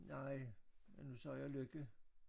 Nej men nu sagde jeg Lykke